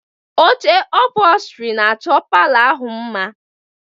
Oche ọpholstri na-achọ palọ ahụ mma